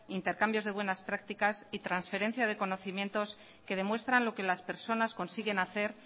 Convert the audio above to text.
intercambios de buenas prácticas y transferencias de conocimientos que demuestran lo que las personas consiguen hacer